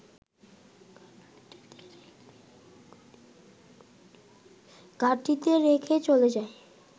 ঘাঁটিতে রেখে চলে যায়